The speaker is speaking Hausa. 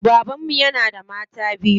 Baban mu yana da mata biyu.